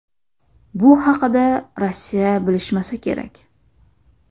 Bu haqida Rossiya bilishmasa kerak.